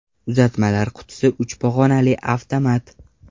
Uzatmalar qutisi uch pog‘onali avtomat.